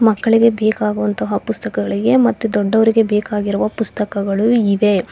ಮಕ್ಕಳಿಗೆ ಬೇಕಾಗುವಂತಹ ಪುಸ್ತಕಗಳಿಗೆ ಮತ್ತು ದೊಡ್ಡವರಿಗೆ ಬೇಕಾಗಿರುವ ಪುಸ್ತಕಗಳು ಇವೆ.